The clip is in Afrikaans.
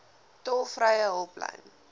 tolvrye hulplyn